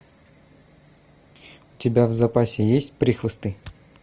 у тебя в запасе есть прохвосты